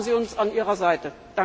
Da haben Sie uns an Ihrer Seite.